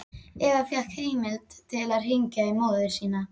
Eva fékk heimild til að hringja í móður sína.